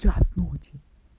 час ночи